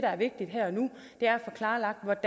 er